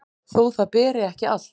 þó það beri ekki allt